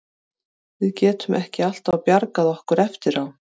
Við getum ekki alltaf bjargað okkur eftir á.